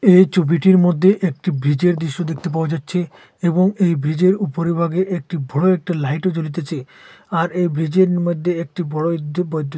এই ছবিটির মদ্যে একটি ব্রীজের দৃশ্য দেখতে পাওয়া যাচ্ছে এবং এই ব্রীজের উপরিভাগে একটি ভোরো একটি লাইট ও জ্বলিতেছে আর এই ব্রীজের মইদ্যে একটি বড়ো ইদ্যু বৈদ্যু --